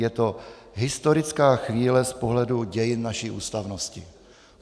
Je to historická chvíle z pohledu dějin naší ústavnosti.